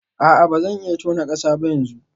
A'a ba zan iya tona kasa ba yanzu